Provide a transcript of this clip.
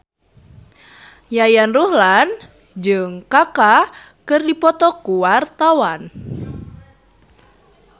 Yayan Ruhlan jeung Kaka keur dipoto ku wartawan